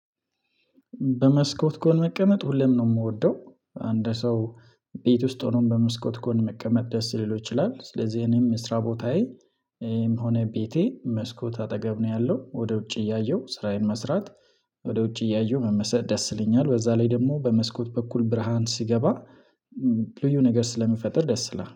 በመስኮት ከሆነ መቀመጥ ሁሌም ነው የምወደው አንድ ሰው ቤት ውስጥ ሆኖም በመስኮት ጎን መቀመጥ ደስ ሊለው ይችላል ስለዚህ እኔም ስራ ቦታዬም ሆነ ቤቴ መስኮት አጠገብ ነው ያለው ወደ ውጪ እያየሁ ስራዬን መስራት። ወደ ውጭ እያየሁ መመሰጥ ደስ ይለኛል በዛ ላይ ደግሞ በመስኮት በኩል ብርሃን ሲገባ ልዩ ነገር ስለሚፈጥር ደስ ይላል